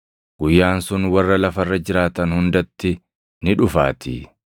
Guyyaan sun warra lafa irra jiraatan hundatti ni dhufaatii.